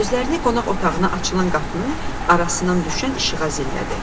Gözlərini qonaq otağına açılan qapının arasından düşən işığa zillədi.